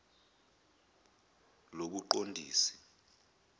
lobuqondisi